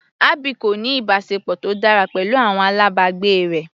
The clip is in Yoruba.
Abby kò ní ìbáṣepọ̀ tó dára pẹ̀lú àwọn alábàgbé rẹ̀.